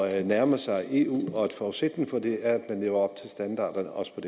at nærme sig eu og en forudsætning for det er at man lever op til standarderne også